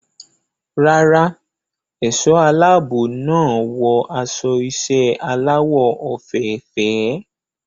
Rárá, ẹ̀ṣọ́ aláàbò náà wọ aṣọ iṣẹ́ aláwọ̀ òfeèfèé.